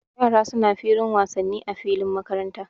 Yara suna da filin wasanni a filin makaranta